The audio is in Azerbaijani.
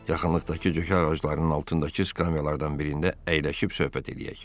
Yaxınlıqdakı cökə ağaclarının altındakı skamyalardan birində əyləşib söhbət eləyək.